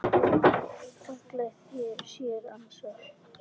fallega þeir sér ansa.